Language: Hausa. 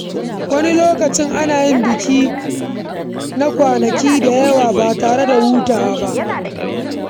Wani lokaci, ana yin biki na kwanaki da dama ba tare da hutawa ba.